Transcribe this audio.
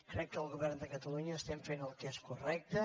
crec que el govern de catalunya fem el que és correcte